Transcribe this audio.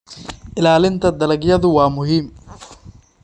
Ilaalinta dalagyadu waa muhiim.